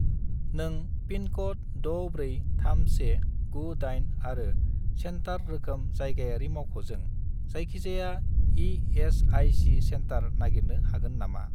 नों पिनक'ड 643198 आरो सेन्टार रोखोम जायगायारि मावख'जों जायखिजाया इ.एस.आइ.सि. सेन्टार नागिरनो हागोन नामा?